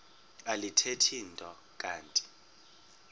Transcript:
alithethi nto kanti